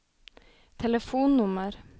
telefonnummer